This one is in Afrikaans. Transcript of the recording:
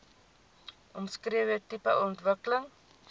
omskrewe tipe ontwikkeling